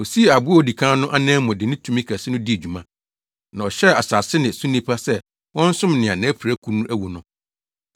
Osii aboa a odi kan no anan mu de ne tumi kɛse no dii dwuma, na ɔhyɛɛ asase ne so nnipa sɛ wɔnsom nea nʼapirakuru no awu no.